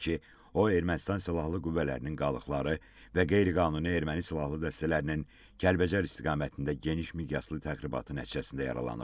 o Ermənistan silahlı qüvvələrinin qalıqları və qeyri-qanuni erməni silahlı dəstələrinin Kəlbəcər istiqamətində genişmiqyaslı təxribatı nəticəsində yaralanıb.